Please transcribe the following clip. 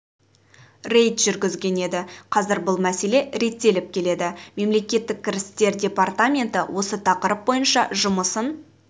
рейд жүргізген еді қазір бұл мәселе реттеліп келеді мемлекеттік кірістер департаменті осы тақырып бойынша жұмысын